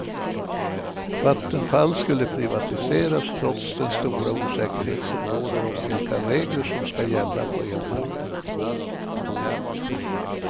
Vattenfall skulle privatiseras trots den stora osäkerhet som råder om vilka regler som ska gälla på elmarknaden.